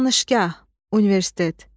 Danışqa, universitet.